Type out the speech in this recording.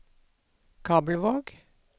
Kabelvåg